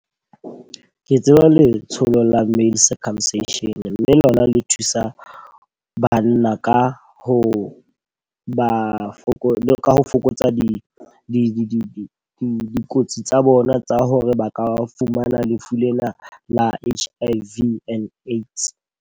Ke tseba letsholo la male circumcision. Mme lona le thusa banna ka ho ba fokotsa ka fokotsa dikotsi tsa bona tsa hore ba ka fumana lefu lena la H_I_V and AIDS.